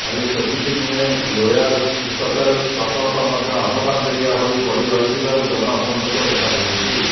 ଖାଲି ସେତିକି ନୁହେଁ ଲୋୟର ସୁକତେଲ ପ୍ରକଳ୍ପ ମଧ୍ୟ ଅଧପନ୍ତରିଆ ହୋଇ ପଡି ରହିଥିବାରୁ ଜନ ଅସନ୍ତୋଷ ଦେଖାଦେଉଛି